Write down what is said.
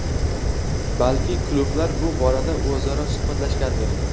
Balki, klublar bu borada o‘zaro suhbatlashgandir.